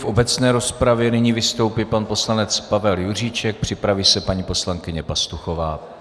V obecné rozpravě nyní vystoupí pan poslanec Pavel Juříček, připraví se paní poslankyně Pastuchová.